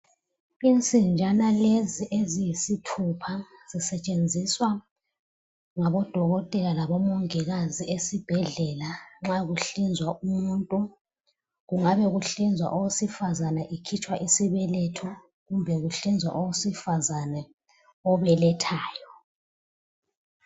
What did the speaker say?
insinjana lezi eziyisithupha zisetshenziswa ngabo dokotela labo mongikazi esibhedlela nxa kuhlinzwa umuntu kungaba kuhlinzwa owesifazana ekhitshwa isibeletho kumbe kuhlinzwa owesifazana obelethayo